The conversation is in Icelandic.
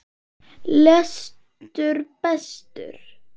Lestu betur!